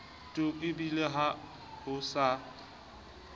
tu ebile ha ho sa